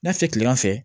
N'a filiman fɛ